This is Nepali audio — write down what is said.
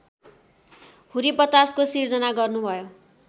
हुरीबतासको सिर्जना गर्नुभयो